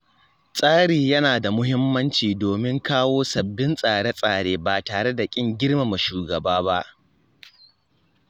Tsari yana da muhimmanci domin kawo sabbin tsare-tsare ba tare da kin girmama shugaba ba.